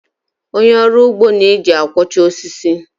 Onye ọrụ ugbo na-eji akwọcha osisi.